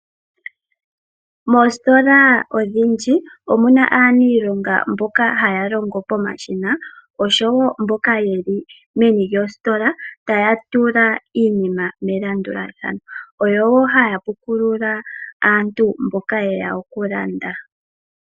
Moositola odhindji omuna aaniilonga mboka haya longo pomashina osho wo mboka yeli meni lyositola taya tula iinima melandulathano. Oyo woo haya puukulula aantu mboka ye ya okulanda.